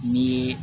Ni ye